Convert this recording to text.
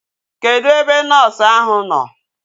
Kedụ ebe nọọsu ahu nọ?